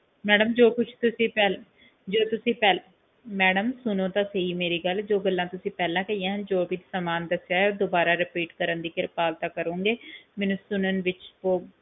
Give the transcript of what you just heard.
madam ਜੋ ਕੁਜ ਤੁਸੀਂ ਪਹਿਲਾਂ ਜੋ ਤੁਸੀਂ ਪਹਿਲਾਂ ਮੈਡਮ ਸੁਣੋ ਤਾਂ ਸਹੀ ਮੇਰੀ ਗੱਲ ਜੋ ਕੁਜ ਗੱਲਾਂ ਪਹਿਲਾ ਦੱਸੀਆਂ ਸੀ ਜੋ ਵੀ ਸਾਮਾਨ ਦੱਸਿਆ ਹੈ ਉਹ ਦੁਬਾਰਾ repeat ਦੀ ਕਿਰਪਾਲਤਾ ਕਰੋਂਗੇ ਮੈਨੂੰ ਸੁਣਨ ਵਿਚ ਬਹੁਤ